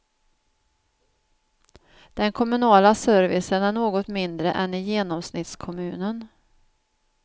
Den kommunala servicen är något mindre än i genomsnittskommunen.